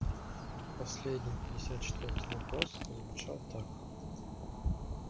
последний пятьдесят четвёртый вопрос звучал так